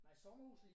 Nej sommerhuset